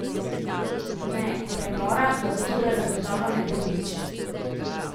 Ne, premora do oktobra zagotovo ne bo nič.